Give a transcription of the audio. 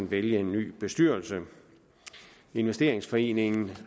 vælge en ny bestyrelse investeringsforeningen